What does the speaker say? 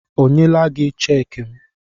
O nyela gị cheekị m?